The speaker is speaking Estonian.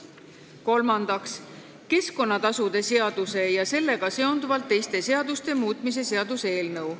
Kolmandaks, keskkonnatasude seaduse ja sellega seonduvalt teiste seaduste muutmise seaduse eelnõu.